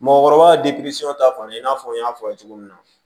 Mɔgɔkɔrɔba ta fan n y'a fɔ a ye cogo min na